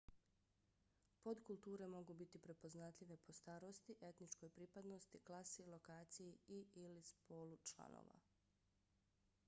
podkulture mogu biti prepoznatljive po starosti etničkoj pripadnosti klasi lokaciji i/ili spolu članova